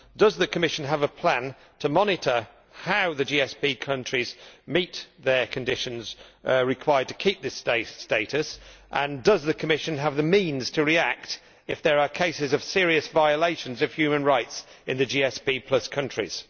Does the Commission have a plan to monitor how the GSP countries meet the conditions required to keep this status and does the Commission have the means to react if there are cases of serious violations of human rights in the GSP countries?